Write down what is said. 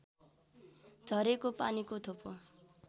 झरेको पानीको थोपो